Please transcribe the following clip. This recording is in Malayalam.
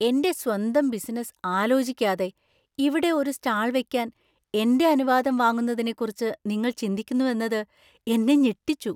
എന്‍റെ സ്വന്തം ബിസിനസ് ആലോചിക്കാതെ ഇവിടെ ഒരു സ്റ്റാൾ വെക്കാൻ എന്‍റെ അനുവാദം വാങ്ങുന്നതിനെക്കുറിച്ച് നിങ്ങൾ ചിന്തിക്കുന്നുവെന്നത് എന്നെ ഞെട്ടിച്ചു.